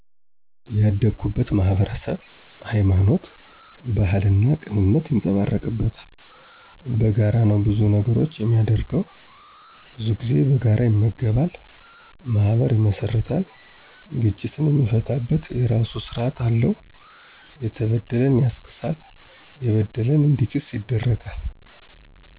ያደግኩት ማህበረሰብ ሀይማኖት፣ ባህልና ቅንነት ይንፀባረቅበታል። በጋራ ነው ብዙ ነገሮቹን የሚያደርገው። ብዙ ጊዜ በጋራ ይመገባ፣ ማህበር ይመሰርታል፤ ግጭትን የሚፈታበት የራሱ ስራት አለው። የተበደለን ያስክሳል፣ የበደለ እንዲክስ ይደረጋል።